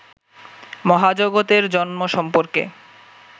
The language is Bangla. মহাজগতের জন্ম সম্পর্কে